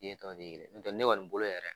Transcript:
Den tɔ be ye ɲɔntɛ ne kɔni bolo yɛrɛ